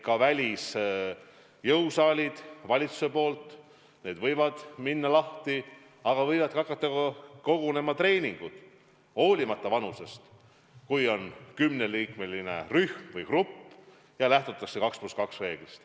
Ka välisjõusaalid võis avada ja võis hakata kogunema treeningutele olenemata vanusest, kui on kümneliikmeline rühm või grupp ja lähtutakse 2 + 2 reeglist.